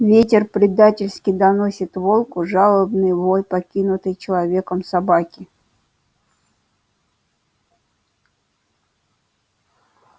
ветер предательски доносит волку жалобный вой покинутой человеком собаки